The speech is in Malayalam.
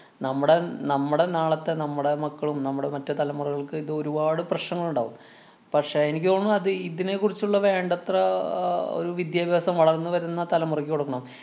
നമ്മുടെ നമ്മുടെ നാളത്തെ നമ്മുടെ മക്കളും, നമ്മുടെ മറ്റു തലമുറകള്‍ക്ക് ഇത് ഒരുപാടു പ്രശ്നങ്ങളുണ്ടാകും. പക്ഷേ, എനിക്ക് തോന്നണു അത് ഇതിനെ കുറിച്ചുള്ള വേണ്ടത്ര അഹ് ഒരു വിദ്യാഭ്യാസം വളര്‍ന്നു വരുന്ന തലമുറയ്ക്ക് കൊടുക്കണം.